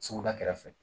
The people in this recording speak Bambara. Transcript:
Suguda kɛrɛfɛ